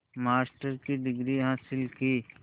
master की degree हासिल की